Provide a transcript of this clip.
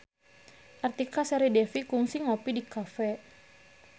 Artika Sari Devi kungsi ngopi di cafe